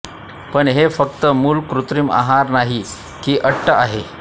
पण हे फक्त मूल कृत्रिम आहार नाही की अट आहे